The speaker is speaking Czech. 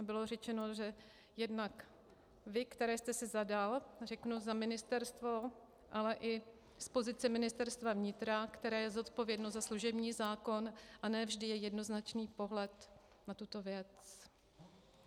A bylo řečeno, že jednak vy, které jste si zadal, řeknu, za ministerstvo, ale i z pozice Ministerstva vnitra, které je zodpovědné za služební zákon, a ne vždy je jednoznačný pohled na tuto věc.